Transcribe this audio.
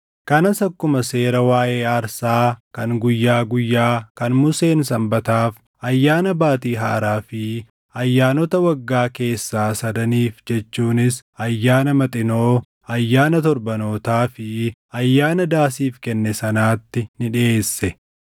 kanas akkuma seera waaʼee aarsaa kan guyyaa guyyaa kan Museen Sanbataaf, Ayyaana Baatii Haaraa fi ayyaanota waggaa keessaa sadaniif jechuunis Ayyaana Maxinoo, Ayyaana Torbanootaa fi Ayyaana Daasiif kenne sanaatti ni dhiʼeesse.